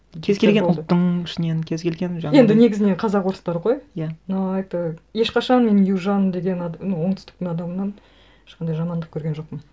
кез келген ұлттың ішінен кез келген жаңағындай енді негізінен қазақ орыстар ғой иә но это ешқашан мен южан ну оңтүстіктің адамынан ешқандай жамандық көрген жоқпын